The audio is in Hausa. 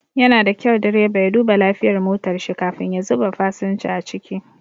Yana da kyau direba ya duba lafiyar motar shi kafin ya zuba fasinja a ciki.